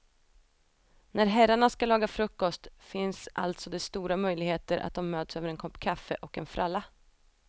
När herrarna ska laga frukost finns alltså det stora möjligheter att de möts över en kopp kaffe och en fralla.